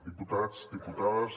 diputats diputades